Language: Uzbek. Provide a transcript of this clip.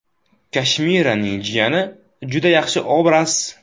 Kashmiraning jiyani – juda yaxshi obraz.